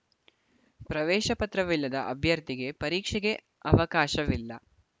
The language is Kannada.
ಪ್ರವೇಶ ಪತ್ರವಿಲ್ಲದ ಅಭ್ಯರ್ಥಿಗೆ ಪರೀಕ್ಷೆಗೆ ಅವಕಾಶವಿಲ್ಲ